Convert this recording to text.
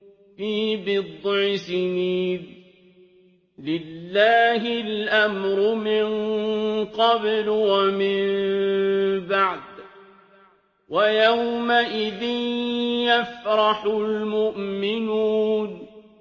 فِي بِضْعِ سِنِينَ ۗ لِلَّهِ الْأَمْرُ مِن قَبْلُ وَمِن بَعْدُ ۚ وَيَوْمَئِذٍ يَفْرَحُ الْمُؤْمِنُونَ